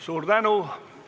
Suur tänu!